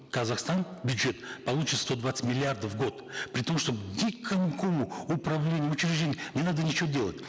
казахстан бюджет получит сто двадцать миллиардов в год при том что никакому управлению учреждению не надо ничего делать